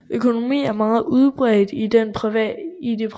Økonomi er meget udbredt i det private